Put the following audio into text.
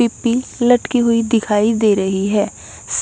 पिप्पी लटकी हुई दिखाई दे रही है।